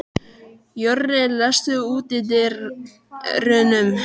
Jörri, læstu útidyrunum.